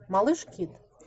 малыш кид